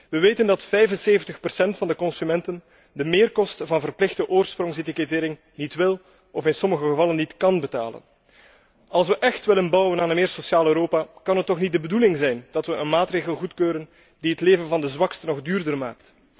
We weten dat 75 procent van de consumenten de meerkosten van verplichte oorsprongsetikettering niet wil of in sommige gevallen niet kan betalen. Als we echt willen bouwen aan een meer sociaal Europa, kan het toch niet de bedoeling zijn dat we een maatregel goedkeuren die het leven van de zwaksten nog duurder maakt.